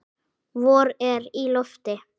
Vor er í lofti.